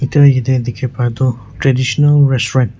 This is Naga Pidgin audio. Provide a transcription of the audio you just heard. tu yate dikhiwo parae tu traditional restaurant .